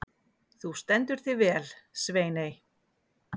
Þú stendur þig vel, Sveiney!